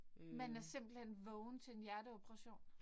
Man er simpelthen vågen til en hjerteoperation?